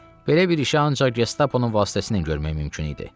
Belə bir işi ancaq Gestaponun vasitəsilə görmək mümkün idi.